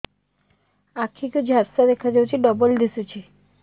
ଆଖି କୁ ଝାପ୍ସା ଦେଖାଯାଉଛି ଡବଳ ଦିଶୁଚି